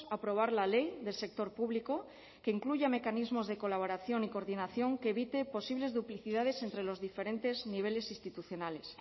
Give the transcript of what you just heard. aprobar la ley del sector público que incluya mecanismos de colaboración y coordinación que evite posibles duplicidades entre los diferentes niveles institucionales